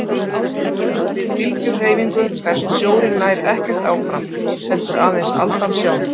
Við bylgjuhreyfingu berst sjórinn nær ekkert áfram heldur aðeins aldan sjálf.